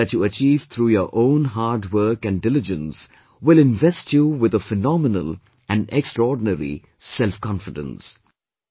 Results that you achieve through your own hard work and diligence will invest you with a phenomenal and extraordinary selfconfidence